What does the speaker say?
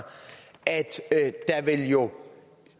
at der jo